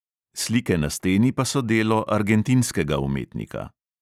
Slike na steni pa so delo argentinskega umetnika.